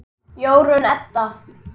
Jórunn Edda.